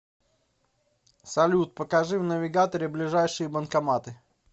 салют покажи в навигаторе ближайшие банкоматы